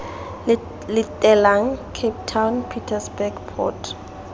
latelang cape town pietersburg port